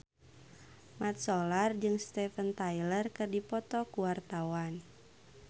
Mat Solar jeung Steven Tyler keur dipoto ku wartawan